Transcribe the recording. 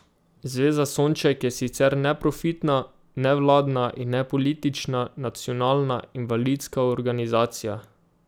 Zveza Sonček je sicer neprofitna, nevladna in nepolitična nacionalna invalidska organizacija.